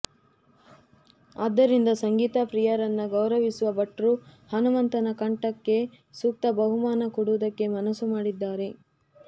ಆದ್ದರಿಂದ ಸಂಗೀತ ಪ್ರಿಯರನ್ನ ಗೌರವಿಸುವ ಭಟ್ರು ಹನುಮಂತನ ಕಂಠಕ್ಕೆ ಸೂಕ್ತ ಬಹುಮಾನ ಕೊಡುವುದಕ್ಕೆ ಮನಸ್ಸು ಮಾಡಿದ್ದಾರೆ